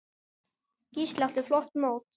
Gísli átti flott mót.